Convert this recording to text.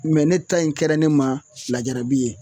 Mɛ ne ta in kɛra ne ma lajarabi ye